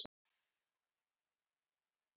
Hljóðið skar í eyrun.